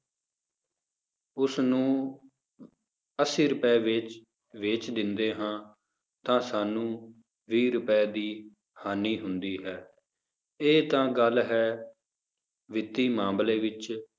ਉਸਨੂੰ ਅੱਸੀ ਰੁਪਏ ਵਿੱਚ ਵੇਚ ਦਿੰਦੇ ਹਾਂ ਤਾਂ ਸਾਨੂੰ ਵੀਹ ਰੁਪਏ ਦੀ ਹਾਨੀ ਹੁੰਦੀ ਹੈ, ਇਹ ਤਾਂ ਗੱਲ ਹੈ ਵਿੱਤੀ ਮਾਮਲੇ ਵਿੱਚ